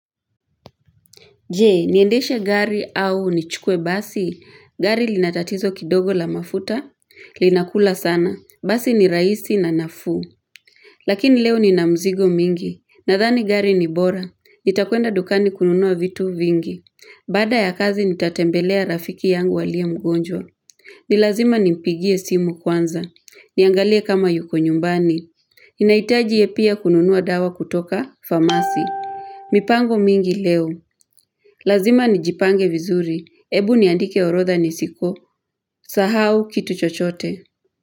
Jee, niendeshe gari au nichukue basi, gari linatatizo kidogo la mafuta, linakula sana, basi ni rahisi na nafuu. Lakini leo ni na mzigo mingi, nadhani gari ni bora, nitakwenda dukani kununua vitu vingi. Baada ya kazi nitatembelea rafiki yangu walia mgonjwa. Ni lazima nimpigie simu kwanza, niangalie kama yuko nyumbani. Ninahitaji ye pia kununuwa dawa kutoka famasi. Mipango mingi leo. Lazima nijipange vizuri. Ebu niandike orodha nisiko. Sahau kitu chochote.